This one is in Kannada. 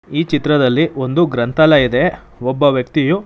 ಈ ಚಿತ್ರದಲ್ಲಿ ಒಂದು ಗ್ರಂಥಾಲಯ ಇದೆ ಒಬ್ಬ ವ್ಯಕ್ತಿಯು--